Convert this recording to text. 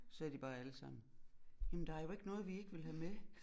Sidder de bare alle sammen jamen der jo ikke noget vi ikke vil have med